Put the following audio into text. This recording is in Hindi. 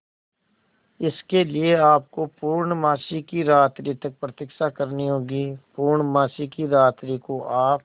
इसके लिए आपको पूर्णमासी की रात्रि तक प्रतीक्षा करनी होगी पूर्णमासी की रात्रि को आप